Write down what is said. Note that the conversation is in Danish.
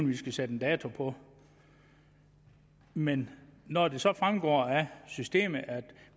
vi skal sætte en dato på men når det så fremgår af systemet at